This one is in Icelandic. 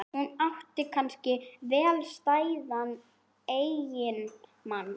Hún átti kannski vel stæðan eiginmann.